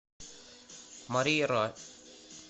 мария ра